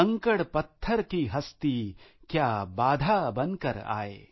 कंकड़पत्थर की हस्ती क्या बाधा बनकर आए आय